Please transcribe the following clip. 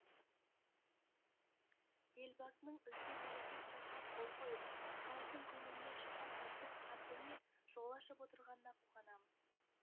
елбасының үлкен тарихи құжатқа қол қойып халықтың көңілінен шыққан ұлттық қарпіне жол ашып отырғанына қуанамыз